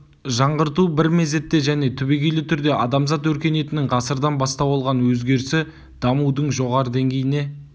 жаңғырту бір мезетте және түбегейлі түрде адамзат өркениетінің ғасырдан бастау алған өзгерісі дамудың жоғарғы деңгейіне